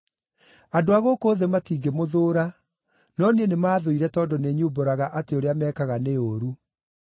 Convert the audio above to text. Andũ a gũkũ thĩ matingĩmũthũũra, no niĩ nĩmathũire tondũ nĩnyumbũraga atĩ ũrĩa mekaga nĩ ũũru.